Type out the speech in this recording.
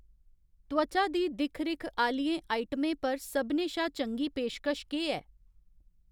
त्वचा दी दिक्ख रिक्ख आह्‌लियें आइटमें पर सभनें शा चंगी पेशकश केह् ऐ?